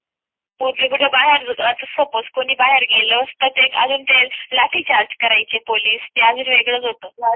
आणि सपोज कोणी बाहेर गेलेले असतात एक अजून ते लाठीचार्ज करायची पोलीस ते वेगळाच होत